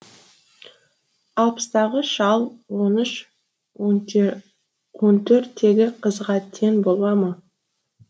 алпыстағы шал он үш он төрттегі қызға тең бола ма